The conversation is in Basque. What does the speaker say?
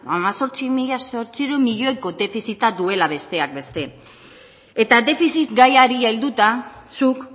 hemezortzi mila zortziehun milioiko defizita duela besteak beste eta defizit gaiari helduta zuk